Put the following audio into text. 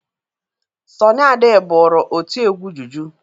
Sọnị Ade bụrụ otiegwu juju.